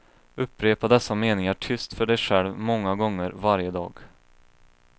Upprepa dessa meningar tyst för dig själv många gånger varje dag.